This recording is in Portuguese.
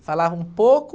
Falavam pouco...